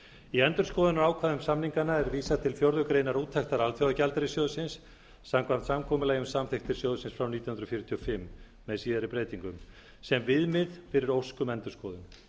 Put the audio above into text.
í endurskoðunarákvæðum samninganna er vísað til fjórðu greinar úttektar alþjóðagjaldeyrissjóðsins samkvæmt samkomulagi um samþykktir sjóðsins frá nítján hundruð fjörutíu og fimm með síðari breytingum sem viðmiðs fyrir ósk um endurskoðun